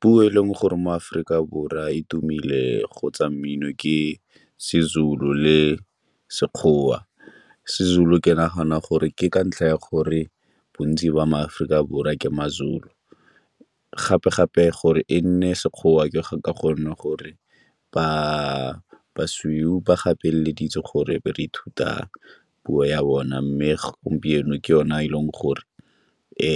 Puo e leng gore mo Aforika Borwa e tumile go tsa mmino ke seZulu le Sekgowa. SeZulu ke nagana gore ke ka ntlha ya gore bontsi ba maAforika Borwa ke maZulu, gape-gape gore e nne Sekgowa ka gonne gore basweu ba gapeleditse gore e be re ithuta puo ya bone. Mme gompieno ke yone e leng gore e